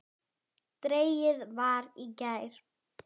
Dregið var í gær.